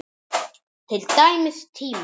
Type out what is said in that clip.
Til dæmis tíma.